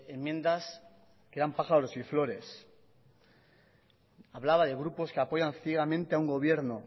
enmiendas que eran pájaros y flores hablaba de grupos que apoyan ciegamente a un gobierno